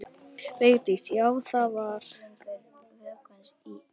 Vigdís: Já, var það þar.